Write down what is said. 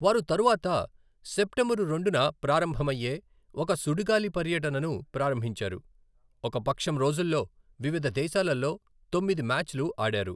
వారు తరువాత సెప్టెంబరు రెండున ప్రారంభమయ్యే ఒక సుడిగాలి పర్యటనను ప్రారంభించారు, ఒక పక్షం రోజుల్లో వివిధ దేశాలలో తొమ్మిది మ్యాచ్లు ఆడారు.